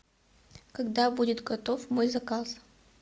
когда будет готов мой заказ